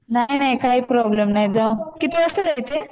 नाही नाही काय प्रॉब्लेम नाही गं किती वाजता जायचं आहे?